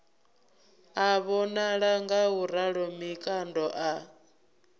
a vhonala ngauralo mikando a